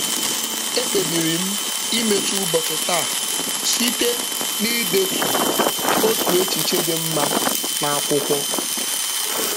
E kpebiri m imechi ụbọchị taa site idetu otu echiche dị mma n'akwụkwọ.